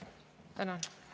Tänan!